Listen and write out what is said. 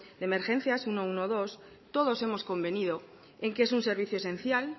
de emergencias ciento doce todos hemos convenido en que es un servicio esencial